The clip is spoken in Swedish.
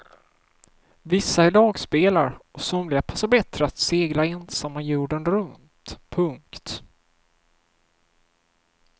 Vissa är lagspelare och somliga passar bättre att segla ensamma jorden runt. punkt